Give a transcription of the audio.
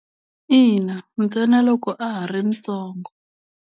Ina, ntsena loko a ha ri ntsongo.